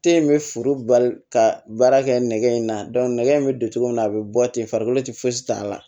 Te in be forobali ka baara kɛ nɛgɛ in na nɛgɛ in be don cogo min a be bɔ ten farikolo ti fosi t'a la